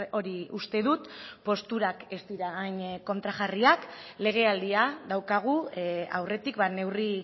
hori uste dut posturak ez dira hain kontrajarriak legealdia daukagu aurretik neurri